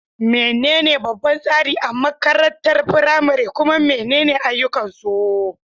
Menene babban tsari a makarantar firamare, kuma menene ayyukansu?